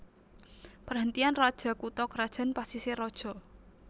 Perhentian Raja kutha krajan Pasisir Raja